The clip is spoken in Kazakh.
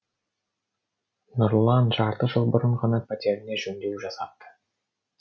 нұрлан жарты жыл бұрын ғана пәтеріне жөндеу жасапты